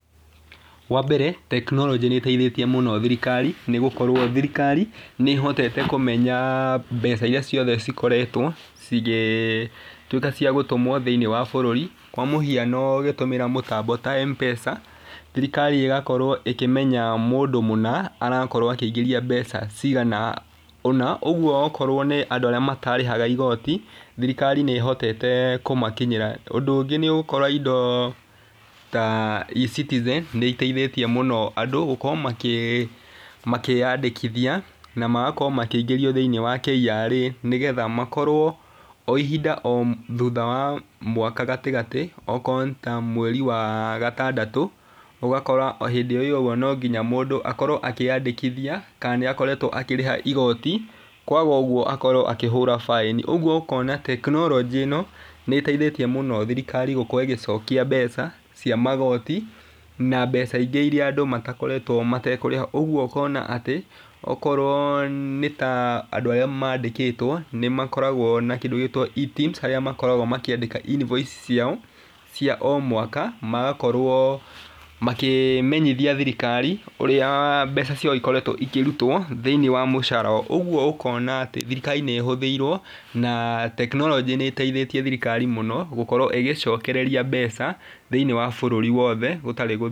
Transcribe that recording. Wa mbere tekinoronjĩ nĩ ĩteithĩtie mũno thirikari nĩ gũkorwo nĩ ĩhotete kũmenya mbeca iria ciothe cikoretwo cigĩtuĩka ca gũtũmwo thĩinĩ wa bũrũri kwa mũhiano ũgĩtũmĩra mũtambo ta M-pesa. Thirikari ĩgakorwo ĩkĩmenya mũndũ mũna arakorwo akĩingĩria mbeca cigana ũna. Ũguo akorwo nĩ andũ arĩa matarĩhaga igoti thirikari nĩ ĩhotete kũmakinyĩra. Ũndũ ũngĩ nĩ ũgũkora indo ta E-citizen nĩ iteithĩtie mũno andũ gũkorwo makĩyandĩkithia na magakorwo makĩingĩrio thĩinĩ wa KRA nĩ getha makorwo o ihinda thutha wa mwaka gatagatĩ okorwo nĩ ta mweri wa gatandatũ,. Ũgakora hĩndĩ ĩyo ũguo no nginya mũndũ akorwo akĩyandĩkithia kana nĩ akoretwo akĩrĩha igoti kwaga ũguo akorwo akĩhũrwo baĩni. Ũguo ũkona tekinoronjĩ ĩno nĩ ĩteithĩtie muno thirikari gũkorwo ĩgĩcokia mbeca cia magoti na mbeca ingĩ iria andũ matakoretwo matekũrĩha. Ũguo ũkona atĩ okorwo nĩ ta andũ arĩa mandĩkĩtwo nĩ makoragwo na kĩndũ gĩgwĩtwo E-teams harĩa makoragwo makĩandĩka invoice ciao cia o mwaka magakorwo makĩmenyithia thirikari ũrĩa mbeca ciao ikoretwo ikĩrutwo thĩinĩ wa mũcara. Ũguo ũkona atĩ thirikari nĩ ĩhũthiirwo na tekinoronjĩ nĩ ĩteithĩtie thirikari mũno gũkorwo ĩgĩcokereria mbeca thĩinĩ wa bũrũri wothe gũtarĩ .